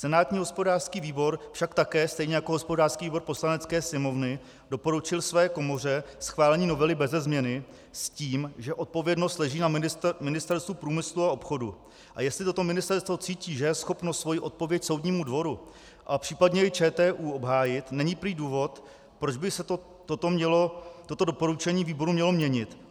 Senátní hospodářský výbor však také, stejně jako hospodářský výbor Poslanecké sněmovny, doporučil své komoře schválení novely beze změny s tím, že odpovědnost leží na Ministerstvu průmyslu a obchodu, a jestli toto ministerstvo cítí, že je schopno svoji odpověď soudnímu dvoru a případně i ČTÚ obhájit, není prý důvod, proč by se toto doporučení výboru mělo měnit.